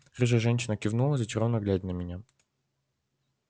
рыжая женщина кивнула зачарованно глядя на меня